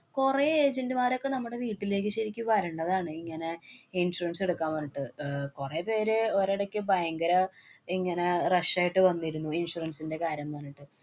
കൊറേ agent മാരൊക്കെ നമ്മുടെ വീട്ടിലേക്ക് ശരിക്ക് വരണ്ടതാണ്, ഇങ്ങനെ insurance എടുക്കാ പറഞ്ഞിട്ട്. അഹ് കൊറേപേര് ഒരെടയ്ക്ക് ഭയങ്കര ഇങ്ങനെ rush ആയിട്ട് വന്നിരുന്നു insurance ന്‍റെ കാര്യം പറഞ്ഞിട്ട്.